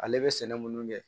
Ale bɛ sɛnɛ minnu kɛ